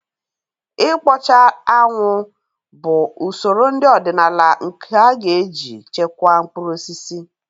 Ịkpọcha anwụ bụ usoro nri ọdịnala nke a ga-eji chekwaa mkpụrụ osisi